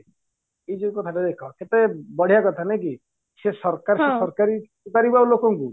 ଏଇ ଯୋଉ କଥା ଟା ଦେଖ କେତେ ବଢିଆ କଥା ନାଇକି ସେ ସରକାର ସରକାରୀ ପଚାରିବ ଆଉ ଲୋକଙ୍କୁ